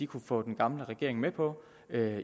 kunne få den gamle regering med på